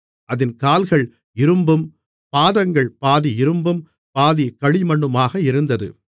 அதின் கால்கள் இரும்பும் பாதங்கள் பாதி இரும்பும் பாதி களிமண்ணுமாக இருந்தது